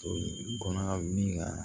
kɔnɔ min ka